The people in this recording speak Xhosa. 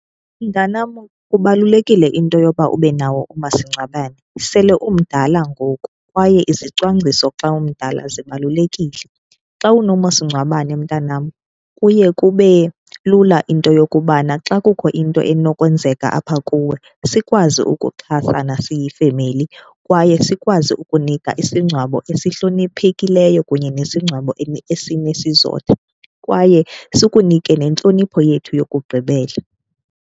Mntanam, kubalulekile into yoba ube nawo umasingcwabane. Sele umdala ngoku kwaye izicwangciso xa umdala zibalulekile. Xa unomasingcwabane, mntanam, kuye kube lula into yokubana xa kukho into enokwenzeka apha kuwe sikwazi ukuxhasana siyifemeli kwaye sikwazi ukunika isingcwabo esihloniphekileyo kunye nesingcwabo esinesizotha, kwaye sikunike nentlonipho yethu yokugqibela.